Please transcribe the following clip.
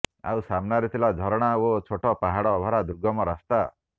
ଆଉ ସାମ୍ନାରେ ଥିଲା ଝରଣା ଓ ଛୋଟ ପାହାଡ଼ ଭରା ଦୁର୍ଗମ ରାସ୍ତା